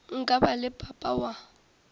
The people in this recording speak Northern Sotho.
nka ba le papa wa